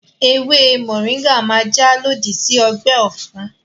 Ewé mọ̀ríńgà máa jà lòdì sí ọgbẹ́ ọ̀fun